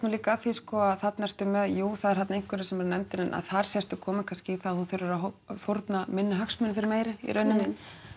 líka að því sko að þarna ertu með jú það eru þarna einhverjir sem eru nefndir en að þar sértu kominn kannski í það að þú þurfir að fórna minni hagsmunum fyrir meiri í rauninni